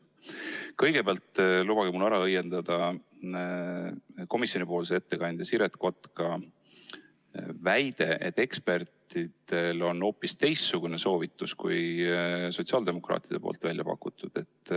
Kõigepealt lubage mul ära õiendada komisjoni ettekandja Siret Kotka väide, et ekspertidel on hoopis teistsugune soovitus kui sotsiaaldemokraatide poolt väljapakutu.